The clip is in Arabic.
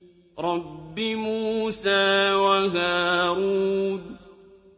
رَبِّ مُوسَىٰ وَهَارُونَ